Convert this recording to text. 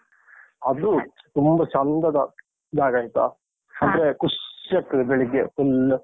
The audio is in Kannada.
ಅದು ತುಂಬ ಚೆಂದದ ಜಾಗ ಆಯ್ತ? ಖುಷಿಯಾಗ್ತದೆ ಬೆಳಿಗ್ಗೆ full .